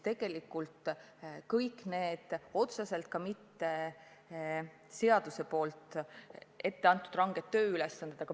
Tegelikult on inspektsioonil täita ka otseselt mitte seadusega rangelt ette antud tööülesanded.